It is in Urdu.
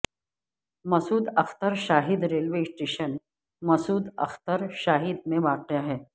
مسعود اختر شاہد ریلوے اسٹیشن مسعود اختر شاہد میں واقع ہے